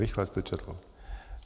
Rychle jste četl.